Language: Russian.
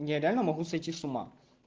я реально могу сойти с ума